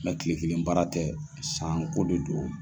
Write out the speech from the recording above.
kile kelen baara tɛ sanko de do.